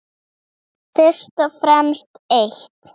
Hindrar stutta hrókun.